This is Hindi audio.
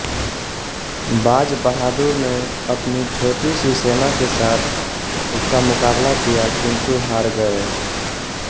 बाज बहादुर ने अपनी छोटीसी सेना के साथ उसका मुकाबला किया किंतु हार गए